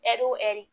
Ɛri o ɛri